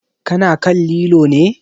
Ka na kan lilo ne?